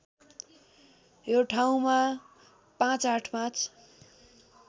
यो ठाउँमा ५८५